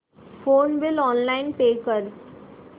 phone bill online pay कर